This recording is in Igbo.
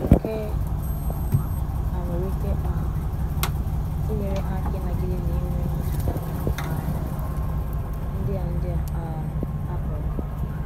nke a nwere ike um inyere ha aka inagide na inwe mmetuta ka um ndi a ndi a um hapụrụ